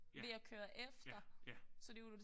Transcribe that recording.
Ja ja ja